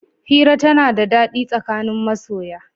Hira tana da daɗi tsakanin masoya.